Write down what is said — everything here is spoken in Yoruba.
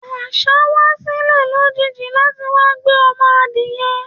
Àṣa wa silẹ lojiji lati wa gbé ọmọ adìyẹ